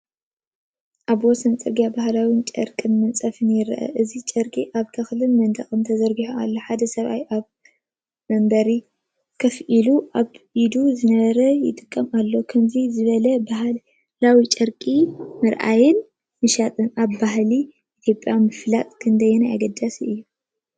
ኣብ ወሰን ጽርግያ ባህላውን ጨርቂን ምንጻፍን ይርአ። እዚ ጨርቂ ኣብ ተክልን መንደቕን ተዘርጊሑ ኣሎ። ሓደ ሰብኣይ ኣብ መንበር ኮፍ ኢሉ ኣብ ኢዱ ዝነበረ ይጥምት ኣሎ። ከምዚ ዝበለ ባህላዊ ጨርቂ ምርኣይን ምሻጥን ኣብ ባህሊ ኢትዮጵያ ምፍላጥ ክንደይ ኣገዳሲ እዩ?